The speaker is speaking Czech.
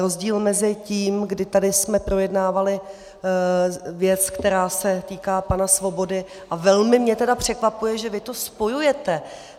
Rozdíl mezi tím, kdy tady jsme projednávali věc, která se týká pana Svobody, a velmi mě tedy překvapuje, že vy to spojujete.